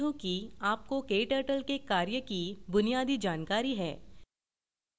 मैं मानती हूँ कि आपको kturtle के कार्य की बुनियादी जानकारी है